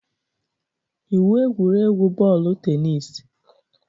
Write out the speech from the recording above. Iwu egwuregwu bọọlụ tenis